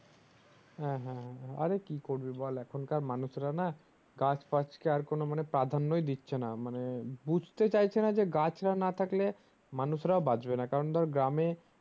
হ্যাঁ হ্যাঁ হ্যাঁ আরে কি করবি বল এখনকার মানুষরা না গাছ ফাছ কে আর কোনো মানে প্রাধান্যই দিচ্ছে না মানে বুজতে চাইছে না যে গাছরা না থাকলে মানুষরাও বাঁচবে না কারণ ধর গ্রামে